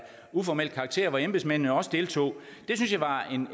uformel karakter og hvor embedsmændene også deltog det synes jeg var